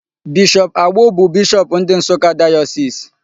Bishop Agbo bụ bishop ndị Nsụka Diocese.